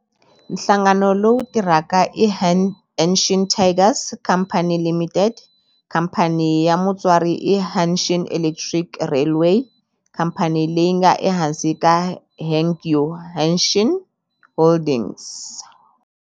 Nhlangano lowu tirhaka i Hanshin Tigers Co., Ltd. Khamphani ya mutswari i Hanshin Electric Railway, khamphani leyi nga ehansi ka Hankyu Hanshin Holdings.